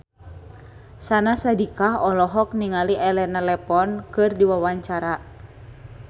Syahnaz Sadiqah olohok ningali Elena Levon keur diwawancara